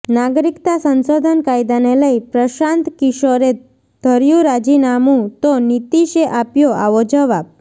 નાગરિકતા સંશોધન કાયદાને લઈ પ્રશાંત કિશોરે ધર્યું રાજીનામું તો નીતીશે આપ્યો આવો જવાબ